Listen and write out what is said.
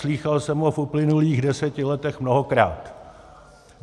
Slýchal jsem ho v uplynulých deseti letech mnohokrát.